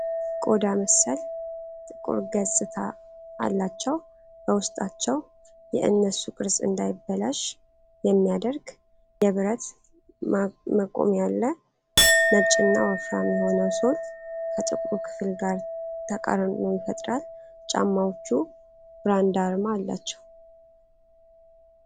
ቆዳ መሰል ጥቁር ገጽታ አላቸው፤ በውስጣቸው የእነሱ ቅርጽ እንዳይበላሽ የሚያደርግ የብረት መቆሚያ አለ። ነጭና ወፍራም የሆነው ሶል ከጥቁሩ ክፍል ጋር ተቃርኖ ይፈጥራል። ጫማዎቹ ብራንድ አርማ ያላቸው፡፡